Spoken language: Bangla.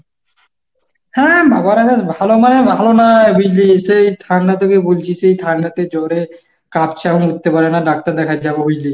হ্যাঁ বাবারা বেশ ভালো মানে ভালো না বুঝলিশ সেই ঠান্ডা থেকে বলছি সেই ঠান্ডাতে জোরে কাঁপছে এখন উঠতে পারে না, ডাক্তার দেখায় যাবো বুঝলি?